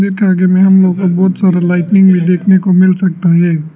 इसके आगे में हम लोग को बहुत सारा लाइट भी देखने को मिल सकता है।